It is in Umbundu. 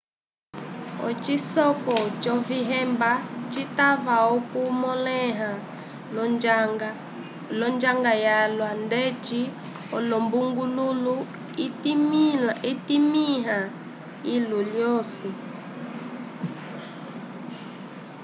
ocisoleko c'ovihemba citava okumõleha l'onjanga yalwa ndeci olumbungululu itimĩha ilu lyosi